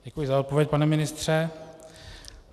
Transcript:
Děkuji za odpověď, pane ministře.